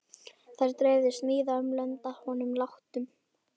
Þær dreifðust víða um lönd að honum látnum.